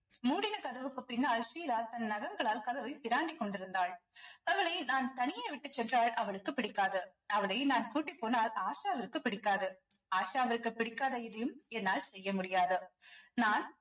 மூடின கதவுக்குப் பின்னால் ஷீலா தன் நகங்களால் கதவை பிராண்டிக் கொண்டிருந்தாள் அவளை நான் தனியே விட்டுச் சென்றால் அவளுக்குப் பிடிக்காது அவளை நான் கூட்டிப் போனால் ஆஷாவிற்குப் பிடிக்காது ஆஷாவிற்குப் பிடிக்காத எதையும் என்னால் செய்ய முடியாது நான்